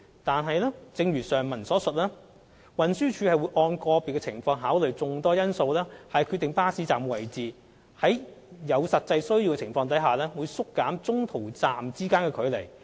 然而，正如上文所述，運輸署會按個別情況考慮眾多因素以決定巴士站位置，在有實際需要情況下會縮減中途站之間的距離。